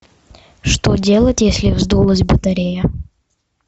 что делать если вздулась батарея